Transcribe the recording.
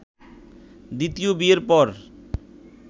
দ্বিতীয় বিয়ের পর